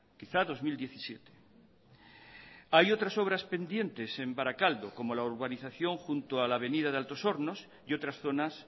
quizá dos mil diecisiete hay otras obras pendientes en barakaldo como es la urbanización junto a la avenida de altos hornos y otras zonas